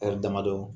ɛri damadɔ